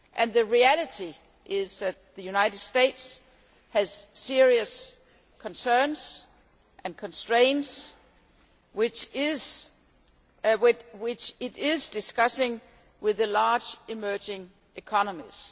The reality is that the United States has serious concerns and constraints which it is discussing with the large emerging economies.